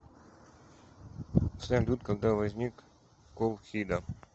салют когда возник колхида